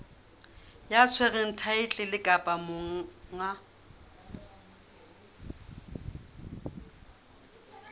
ya tshwereng thaetlele kapa monga